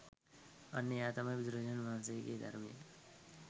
අන්න එයා තමයි බුදුරජාණන් වහන්සේගේ ධර්මය